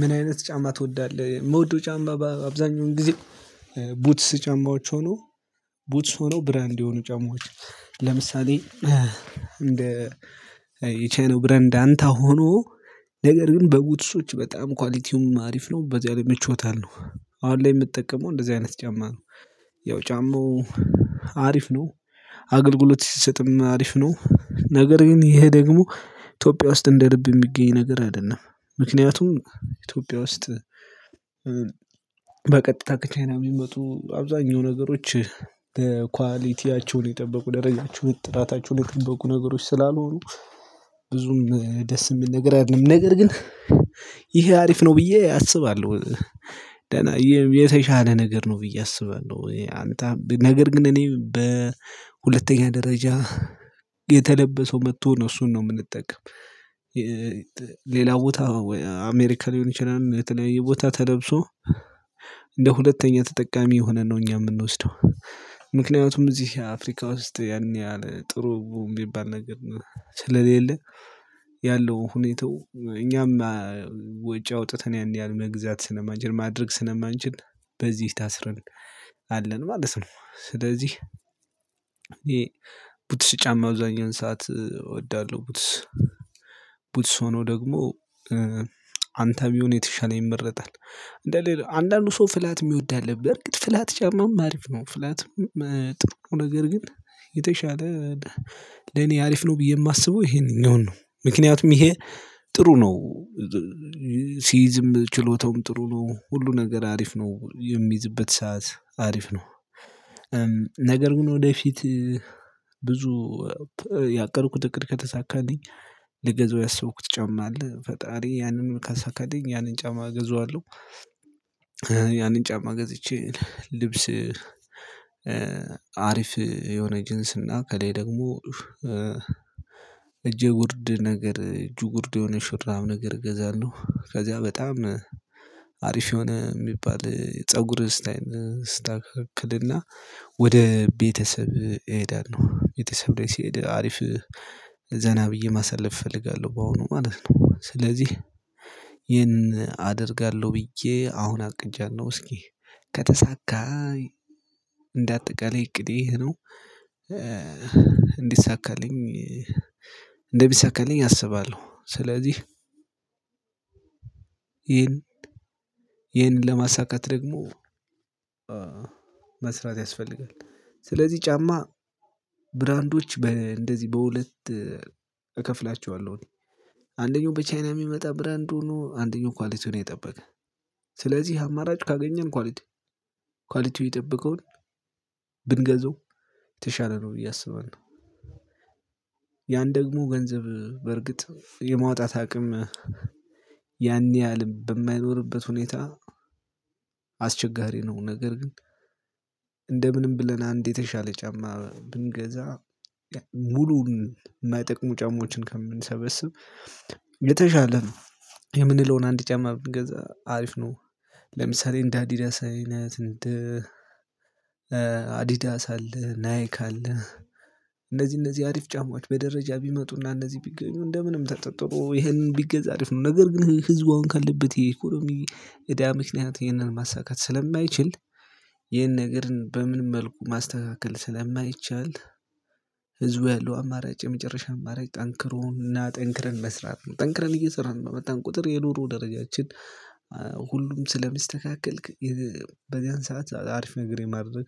ምን አይነት ጫማ ትወዳለህ? የምወደው ጫማ አብዛኛውን ጊዜ ቡትስ ጫማዎች ሆነው ቡትስ ሆኖ ብራንድ የሆኑ ጨማማዎች ለምሳሌ እንደ የቻይናው ብራንድ አንታ ሆኖ ነገር ግን በቡትሶች በጣም ኳሊቲውም አሪፍ ነው በዚያ ላይ ምቾት አለው ነው አሁን ላይ የምትጠቀመው እንደዚህ አይነት ጫማ ነው። ያው ጫማው አሪፍ ነው አገልግሎት ሲሰጥም አሪፍ ነው ነገር ግን ይሄ ደግሞ ኢትዮጵያ ውስጥ እንደ ልብ የሚገኝ ነገር አይደለም። ምክንያቱም ኢትዮጵያ ውስጥ በቀጥታ ከቻይና የሚመጡ አብዛኛው ነገሮች ኳሊቲያቸውን የጠበቁ ደረጃቸውን ጥራታቸውን የጠበቁ ነገሮች ስላልሆኑ ብዙም ደስ የሚል ነገር አይደለም ነገር ግን ይሄ አሪፍ ነው ብዬ አስባለሁ። ደህና የተሻለ ነገር ነው ብዬ አስባለሁ አንታ ነገር ግን እኔ በሁለተኛ ደረጃ የተለበሰው መጥቶ ነው እሱን ነው የምንጠቀም። ሌላ ቦታ ወይ አሜሪካ ሊሆን ይችላል የተለያየ ቦታ ተለብሶ እንደ ሁለተኛ ተጠቃሚ ሆነን ነው እኛ የምንወስደው። ምክንያቱም እዚህ አፍሪካ ውስጥ ያን ያህል ጥሩ ሚባል ነገር ነው ስለሌለ ያለው ሁኔታው እኛም ወጪ አውጥተን ያን ያህል መግዛት ስነማንችል ማድረግ ስለማንችል በዚህ ታስረን አለን ማለት ነው። ስለዚህ ይሄ ቡትስ ጫማ አብዛኛውን ሰዓት እወዳለሁ። ቡትስ ቡትስ ሆኖ ደግሞ አንታ ቢሆን የተሻለ ይመረጣል እንደሌለ አንዳንዱ ሰው ፍላት የሚወድ አለብህ በርግጥ ፍላት ጫማም አሪፍ ነው ፍላትም ጥሩ ነገር ግን የተሻለ ለኔ አሪፍ ነው ብዬ የማስበው ይሄንኛውን ነው። ምክንያቱም ይሄ ጥሩ ነው ሲይዝም ችሎታውም ጥሩ ነው ሁሉ ነገር አሪፍ ነው የሚይዝበት ሰዓት አሪፍ ነው። ነገር ግን ወደፊት ብዙ ያቀድኩት እቅድ ከተሳካልኝ ልገዛው ያሰብኩት ጫማ አለ ፈጣሪ ያንን ካሳካልኝ ያንን ጫማ እገዛዋለሁ። ያንን ጫማ ገዝቼ ልብስ አሪፍ የሆነ ጅንስና ከሌ ደግሞ እጄ ጉርድ ነገር እጁ ጉርድ የሆነ ሹራብ ነገር እገዛልለሁ ከዚያ በጣም አሪፍ የሆነ የሚባል ፀጉር እስታይል እስተካከልና ወደ ቤተሰብ እሄዳለሁ ቤተሰብ ላይ ሲሄድ አሪፍ ዘና ብዬ ማሳለፍ እፈልጋለሁ ባሁኑ ማለት ነው። ስለዚህ ይሄን አደርጋለሁ ብዬ አሁን አቅጃለሁ እስኪ ከተሳካ እንደ አጠቃላይ እቅዴ ነው። እንዲሳካልኝ እንደሚሳካልኝ አስባለሁ ስለዚህ ይሄን ይሄንን ለማሳካት ደግሞ መስራት ያስፈልጋል። ስለዚህ ጫማ ብራንዶች በእንደዚህ በሁለት እከፍላቸዋለሁኝ አንደኛው በቻይና የሚመጣ ብራንድ ሆኖ አንደኛው ኳሊቲውን የጠበቀ ስለዚህ አማራጭ ካገኘን ኳሊቲ ኳሊቲው ይጠብቀውን ብንገዛው የተሻለ ነው ብየ አስባለሁ። ያን ደግሞ ገንዘብ በርግጥ የማውጣት አቅም ያን ያህል በማይኖርበት ሁኔታ አስቸጋሪ ነው ነገር ግን እንደ ምንም ብለን አንድ የተሻለ ጫማ ብንገዛ ሙሉውን ማይጠቅሙ ጫማዎችን ከምንሰበስብ የተሻለ የምንለውን አንድ ጫማ ብንገዛ አሪፍ ነው። ለምሳሌ እንደ አዲዳስ አይነት እንደ አዲዳስ አለ ናይክ አለ እነዚህ እነዚህ አሪፍ ጫማዎች በደረጃ ቢመጡና እነዚህ ቢገኙ እንደምንም ተጣጥሮ ይሄንን ቢገዛ አሪፍ ነው። ነገር ግን ህዝቡ አሁን ካለበት የኢኮኖሚ እዳ ምክንያት ይሄንን ማሳካት ስለማይችል ይህን ነገርን በምንም መልኩ ማስተካከል ስለማይቻል ህዝቡ ያለው አማራጭ የመጨረሻ አማራጭ ጠንክሮና ጠንክረን መስራት ነው ጠንክረን እየሰራን በመጣን ቁጥር የኑሩ ደረጃችን ሁሉም ስለሚስተካከል በዚያን ሰዓት አሪፍ ነገር የማድረግ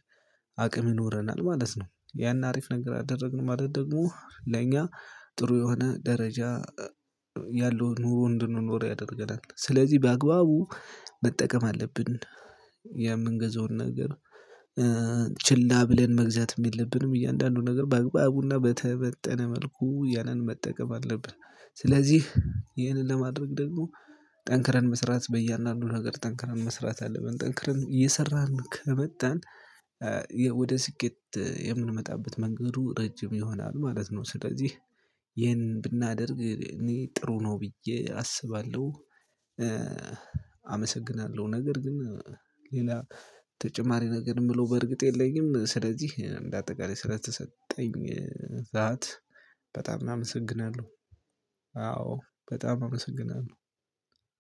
አቅም ይኖረናል ማለት ነው። ያን አሪፍ ነገር አደረግን ማለት ደግሞ ለኛ ጥሩ የሆነ ደረጃ ያለው ኑሮ እንድንኖር ያደርገናል ስለዚህ በአግባቡ መጠቀም አለብን። የምንገዛውን ነገር ችላ ብለን መግዛትም የለብንም እያንዳንዱ ነገር በአግባቡና በተመጠነ መልኩ ያንን መጠቀም አለብን። ስለዚህ ይህንን ለማድረግ ደግሞ ጠንክረን መስራት በያንዳንዱ ነገር ጠንክረን መስራት አለብን ጠንክረን እየሰራን ከመጣን ወደ ስኬት የምንመጣበት መንገዱ ረጅም ይሆናል ማለት ነው። ስለዚህ ይሄን ብናደርግ እኔ ጥሩ ነው ብዬ አስባለሁ። አመሰግናለሁ ነገር ግን ሌላ ተጨማሪ ነገር የምለው በእርግጥ የለኝም። ስለዚህ እንደ አጠቃላይ ስለተሰጠኝ ሰዓት በጣም አመሰግናለሁ። አዎ በጣም አመሰግናለሁ።